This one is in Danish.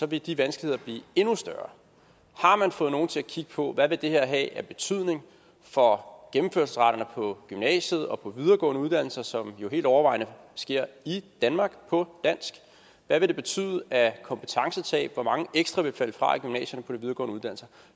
vil de vanskeligheder blive endnu større har man fået nogen til at kigge på hvad det her vil have af betydning for gennemførelsesraterne på gymnasiet og på de videregående uddannelser som jo helt overvejende sker i danmark på dansk hvad vil det betyde af kompetencetab hvor mange ekstra vil falde fra i gymnasierne videregående uddannelser